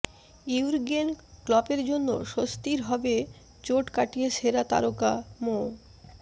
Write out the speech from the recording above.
Jürgen ক্লপের জন্য স্বস্তির হবে চোট কাটিয়ে সেরা তারকা মো